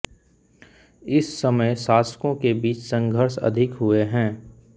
इस समय शासकों के बीच संघर्ष अधिक हुए हैं